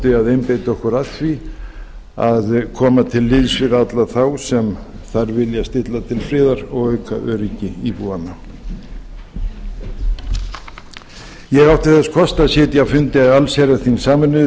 að einbeita okkur að því að koma til liðs við alla þá sem þar vilja stilla til friðar og auka öryggi íbúanna ég átti þess kost að sitja á fundi allsherjarþings sameinuðu